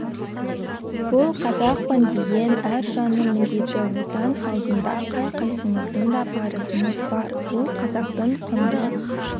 бұл қазақпын деген әр жанның міндеті отан алдында қай қайсымыздың да парызымыз бар ол қазақтың құнды